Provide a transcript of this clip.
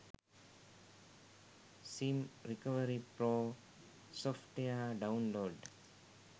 sim recovery pro software download